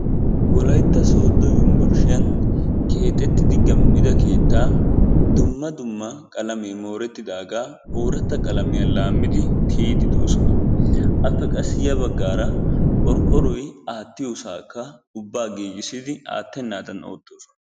Wolaytta sodo yumburshiyan keexettidi qam'ida keettaa dumma dumma qalamee moorettidaagaa ooratta qalamiya laammidi tiyiiddi doosona. Appe qassi ya baggaara qorqqoroy aattiyosaakka ubbaa giigissidi aattennaadan oottoosona.